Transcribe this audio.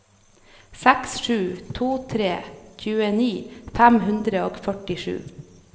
seks sju to tre tjueni fem hundre og førtisju